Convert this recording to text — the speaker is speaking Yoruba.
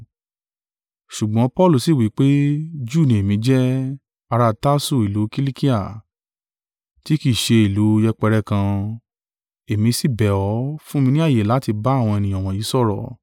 Ṣùgbọ́n Paulu sì wí pé, “Júù ní èmi jẹ́, ará Tarsu ìlú Kilikia, tí kì í ṣe ìlú yẹpẹrẹ kan, èmi síbẹ̀ ọ, fún mi ní ààyè láti bá àwọn ènìyàn wọ̀nyí sọ̀rọ̀!”